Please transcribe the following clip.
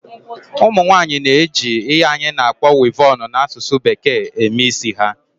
Ụmụnwaanyị ji ihe anyị na-akpọ "weavon" n'asụsụ bekee eme isi ha